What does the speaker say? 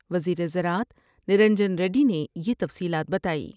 وزیر زراعت نرنجن ریڈی نے یہ تفصیلات بتائی ۔